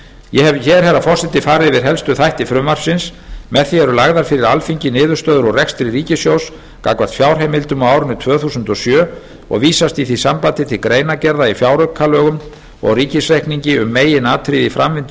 ég hef hér herra forseti farið yfir helstu þætti frumvarpsins með því eru lagðar fyrir alþingi niðurstöður úr rekstri ríkissjóðs gagnvart fjárheimildum á árinu tvö þúsund og sjö og vísast í því sambandi til greinargerða í fjáraukalögum og ríkisreikningi um meginatriði í framvindu